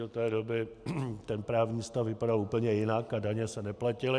Do té doby ten právní stav vypadal úplně jinak a daně se neplatily.